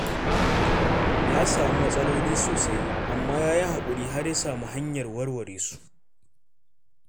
Ya samu matsaloli sosai, amma ya yi haƙuri, har ya sami hanyar warware su.